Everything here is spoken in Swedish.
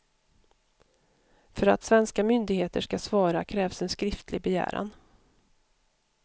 För att svenska myndigheter ska svara krävs en skriftlig begäran.